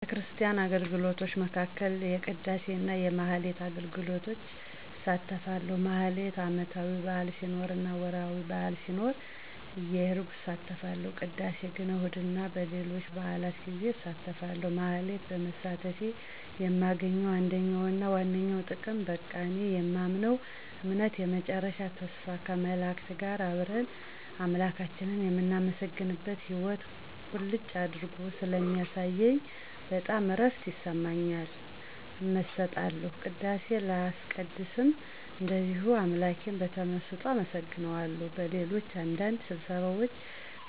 ከቤተክርስቲያን አገልግሎቶች መካከል የቅዳሴ እና የማኅሌት አገልግሎቶች እሳተፋለሁ። ማኅሌት ዓመታዊ በዓል ሲኖር እና ወርኃዊ በዓል ሲኖር እየሄድኩ እሳተፋለሁ። ቅዳሴ ግን እሁድ እና በሌሎች በዓላት ጌዜ አሳተፋለሁ። ማኅሌት በመሳተፌ የማገኘው አንደኛውና ዋነኛው ጥቅም በቃ እኔ የማምነውን እምነት የመጨረሻ ተስፋ ከመላእክት ጋር አብረን አምላካችንን የምናመሰግንበትን ሕይዎት ቁልጭ አድርጎ ስለሚያሳየኝ በጣም እረፍት ይሰማኛል። እመሰጣለሁ። ቅዳሴ ሳስቀድስም እንደዚሁ አምላኬን በተመሰጦ አመሰግነዋለሁ። በሌሎች አንዳንድ ስብሰባዎች